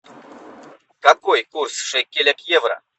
какой курс шекеля к евро